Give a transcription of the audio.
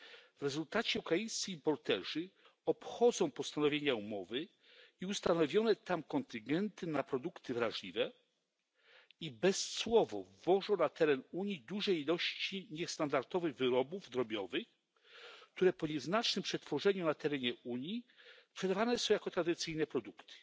W rezultacie ukraińscy importerzy obchodzą postanowienia umowy i ustanowione tam kontyngenty na produkty wrażliwe i bezcłowo wwożą na teren Unii duże ilości niestandardowych wyrobów drobiowych, które po nieznacznym przetworzeniu na terenie Unii sprzedawane są jako tradycyjne produkty.